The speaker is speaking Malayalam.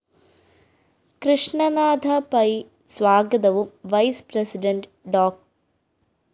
കൃഷ്ണനാഥപൈ സ്വാഗതവും വൈസ്‌ പ്രസിഡണ്ട് ഡോ